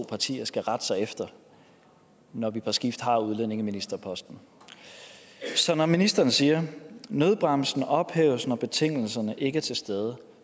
partier skal rette sig efter når vi på skift har udlændingeministerposten så når ministeren siger at nødbremsen ophæves når betingelserne ikke er til stede